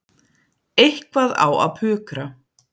Eitthvað á að pukra.